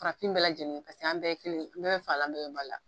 Farafin bɛɛ lajɛlen an bɛɛ kelen ye an bɛɛ bɛ fa la an bɛɛ bɛ ba la